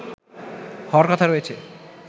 হওয়ার কথা রয়েছে